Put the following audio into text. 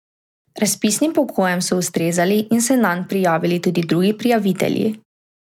Razpisnim pogojem so ustrezali in se nanj prijavili tudi drugi prijavitelji.